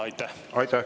Aitäh!